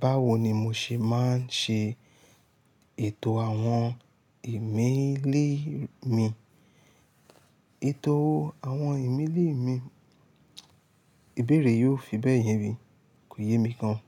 Báwo ni mo ṣe máa ń ṣe ètò àwọn ìmélì mi? Ètò àwọn ìmélì mi, ìbéèrè yi o fi bẹ́ẹ̀ yẹ mi kò yẹ mi gan.